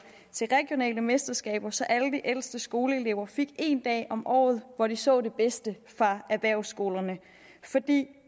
til at mesterskaber så alle de ældste skoleelever fik én dag om året hvor de så det bedste fra erhvervsskolerne for det